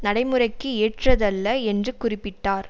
நடைமுறைக்கு ஏற்றதல்ல என்று குறிப்பிட்டார்